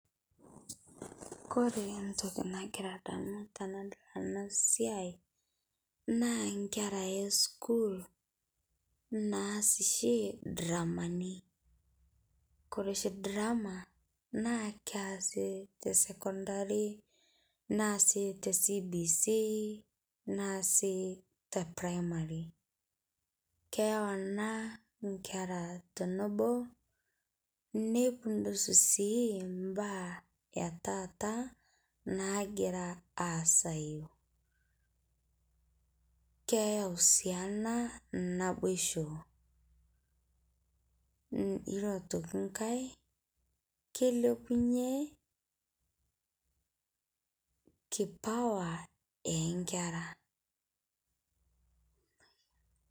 Kore ntokii nagira adamu tanadol ana siai naa nkeera e sukuul naas shii dramanii. Kore shii drama naa keasii te secondary, naasi te CBC, naasii te primary. Keiyau ana nkeera tonoboo neipundush sii baya e taata nagira aasayu. Keiyau sii ana naiboshoo iyoo tokii nkaai keilepunye kipawa e nkeera.